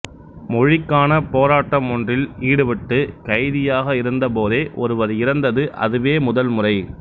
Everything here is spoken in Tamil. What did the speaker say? மொழிக்கான போராட்டம் ஒன்றில் ஈடுபட்டு கைதியாக இருந்த போதே ஒருவர் இறந்தது அதுவே முதல் முறை